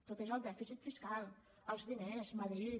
tot és el dèficit fiscal els diners madrid